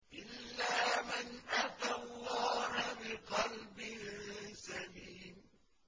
إِلَّا مَنْ أَتَى اللَّهَ بِقَلْبٍ سَلِيمٍ